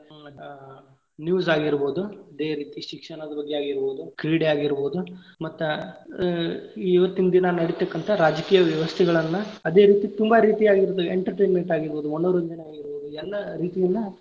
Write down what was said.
news ಆಗಿರಬಹುದು ಇದೆ ರೀತಿ ಶಿಕ್ಷಣದ ಬಗ್ಗೆ ಆಗಿರಬಹುದು ಕ್ರೀಡೆ ಆಗಿರಬಹುದು ಮತ್ತ ಇವತ್ತಿನ ದಿನಾ ನಡೀತಕ್ಕಂತ ರಾಜಕೀಯ ವ್ಯವಸ್ಥೆಗಳನ್ನಾ ಅದೇ ರೀತಿ ತುಂಬಾ ರೀತಿಯಾಗಿರ್ತಾವ entertainment ಆಗಿರಬಹುದು ಮನೋರಂಜನೆ ಆಗಿರಬಹುದು ಎಲ್ಲಾ ರೀತಿಯಿಂದ.